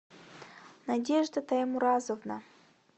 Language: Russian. надежда таймуразовна